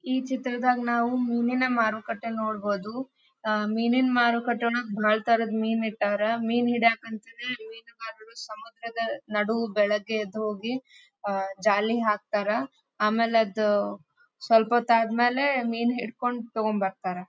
ಈ ಚಿತ್ರದಾಗ್ ನಾವು ಮೀನಿನ ಮಾರುಕಟ್ಟೆ ನೋಡಬಹುದು. ಅಹ್ ಮೀನಿನ ಮಾರುಕಟ್ಟೆ ಒಳಗ್ ಭಾಳ್ ತರದ್ ಮೀನ್ ಇಟ್ಟಾರ್ ಮೀನ್ ಹಿಡಿಯಕಂತ್ ಹೇಳಿ ಮೀನುಗಾರರು ಸಮುದ್ರದ ನಡು ಬೆಳಗ್ಗೆ ಎದ್ದು ಹೋಗಿ ಅಹ್ ಜಾಲಿ ಹಾಕ್ತಾರಾ. ಆಮೇಲ್ ಅದ್ ಸ್ವಲ್ಪ ಹೊತ್ತ ಆದಮೇಲೆ ಮೀನ್ ಹಿಡ್ಕೊಂಡ್ ತೊಗೊಂಡ್ ಬರ್ತಾರಾ.